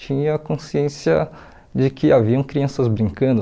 Tinha a consciência de que haviam crianças brincando.